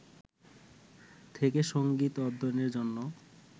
থেকে সঙ্গীত অধ্যয়নের জন্য